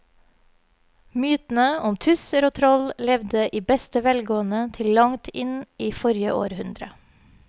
Mytene om tusser og troll levde i beste velgående til langt inn i forrige århundre.